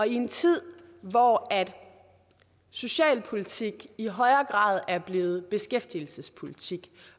i en tid hvor socialpolitik i højere grad er blevet beskæftigelsespolitik